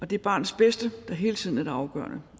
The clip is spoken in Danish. det er barnets bedste der hele tiden er det afgørende